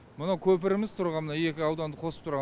мына көпіріміз тұрған мына екі ауданды қосып тұрған